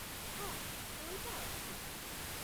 ହଁ, ଦୁଇଟା ଅଛି ।